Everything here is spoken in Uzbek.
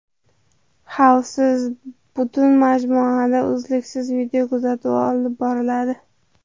Xavfsiz butun majmuada uzluksiz videokuzatuv olib boriladi.